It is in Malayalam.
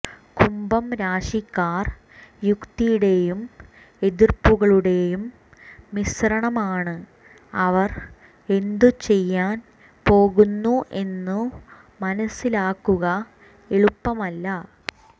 കുംഭം രാശിക്കാർ യുക്തിയുടെയും എതിർപ്പുകളുടേയും മിശ്രണമാണ് അവർ എന്തു ചെയ്യാൻ പോകുന്നു എന്നു മനസ്സിലാക്കുക എളുപ്പമല്ല